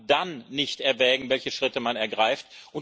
Und kann man dann nicht erwägen, welche Schritte man ergreift?